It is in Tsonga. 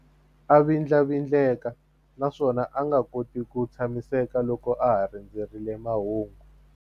A vindlavindleka naswona a nga koti ku tshamiseka loko a ha rindzerile mahungu.